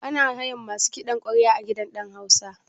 Ana hayan masu kiɗan ƙwarya a gidan ɗan hausa?